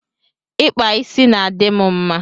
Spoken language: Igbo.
Ịkpa isi na-adị m mma